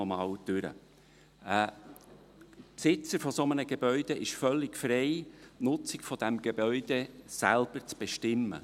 Ein Besitzer eines solchen Gebäudes ist völlig frei, die Nutzung dieses Gebäudes selbst zu bestimmen.